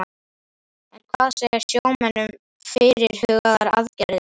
En hvað segja sjómenn um fyrirhugaðar aðgerðir?